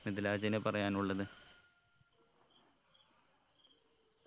മിദിലാജിന് പറയാനുള്ളത്